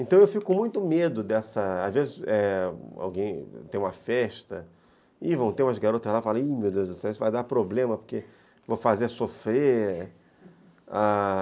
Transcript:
Então eu fico com muito medo dessa... Às vezes alguém tem uma festa e vão ter umas garotas lá e falam, meu Deus do céu, isso vai dar problema porque vou fazer sofrer, ah...